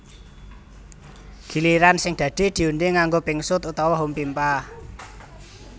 Giliran sing dadi diundhi nganggo pingsut utawa hompimpah